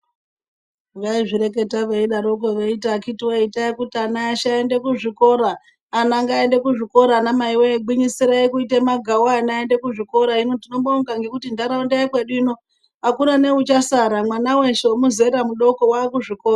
Vaizvireketa veidaropo veiti akiti wee itai kuti ana eshe aende kuzvikora ana ngaaende kuzvikora ana mai wee gwinyisirai kuite magawu ana aende kuzvikora hino tinobonga nekuti ndaraunda yekwedu uno akuna neuchasara mwana weshe nemuzera mudooko waakuzvikora.